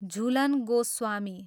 Jhulan Goswami